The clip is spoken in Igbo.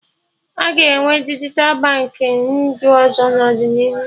Aga enwe dijital Baankị ndụ ọzọ n'ọdịnihu